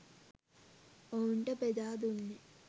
ඔවුන්ට බෙදා දුන්නේ